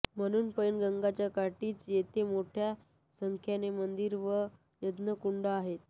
म्हणून पैनगंगेच्या काठीच येथे मोठ्या संख्येने मंदिरे व यज्ञकुंडे आहेत